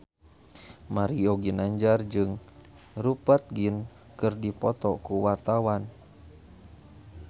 Mario Ginanjar jeung Rupert Grin keur dipoto ku wartawan